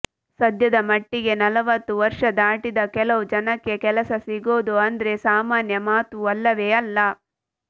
ಸದ್ಯದ ಮಟ್ಟಿಗೆ ನಲವತ್ತು ವರ್ಷ ದಾಟಿದ ಕೆಲವು ಜನಕ್ಕೆ ಕೆಲಸ ಸಿಗೋದು ಅಂದ್ರೆ ಸಾಮಾನ್ಯ ಮಾತು ಅಲ್ಲವೇ ಅಲ್ಲ